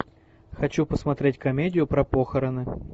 хочу посмотреть комедию про похороны